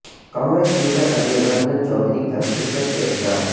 Congress leader Adhir Ranjan Chowdhury کا شرکت سے انکار